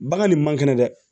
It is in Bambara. Bagan nin man kɛnɛ dɛ